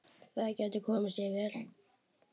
Það gæti komið sér vel.